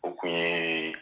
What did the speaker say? O kun ye